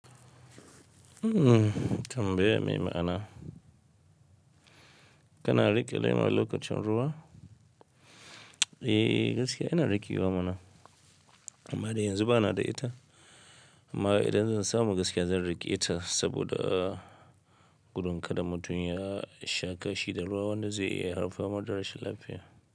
Mm-hmm, tambaya mai ma'ana. Kana riƙe laima lokacin ruwa? Eh gaskiya ina riƙewa mana amma dai yanzu ba na da ita. Amma idan zan samu gaskiya zan riƙe ita saboda gudun kada mutum ya sha kashi da ruwa wanda zai iya haifar da rashin lafiya.